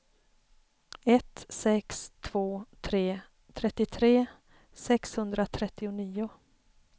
ett sex två tre trettiotre sexhundratrettionio